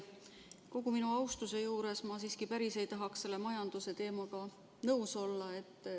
Kogu minu austuse juures ma siiski ei taha selle majanduse teemaga päris nõus olla.